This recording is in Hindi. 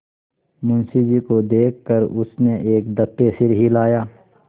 मुंशी जी को देख कर उसने एक दफे सिर हिलाया